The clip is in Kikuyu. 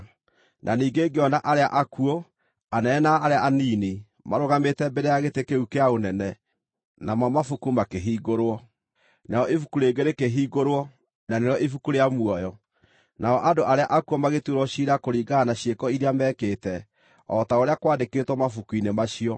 Na ningĩ ngĩona arĩa akuũ, anene na arĩa anini, marũgamĩte mbere ya gĩtĩ kĩu kĩa ũnene, namo mabuku makĩhingũrwo. Narĩo ibuku rĩngĩ rĩkĩhingũrwo, na nĩrĩo ibuku rĩa muoyo. Nao andũ arĩa akuũ magĩtuĩrwo ciira kũringana na ciĩko iria meekĩte, o ta ũrĩa kwaandĩkĩtwo mabuku-inĩ macio.